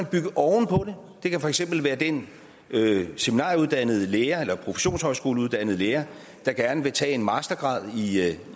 bygge oven på det kan for eksempel være den seminarieuddannede lærer eller professionshøjskoleuddannede lærer der gerne vil tage en mastergrad